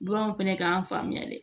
Baganw fɛnɛ k'an faamuya dɛ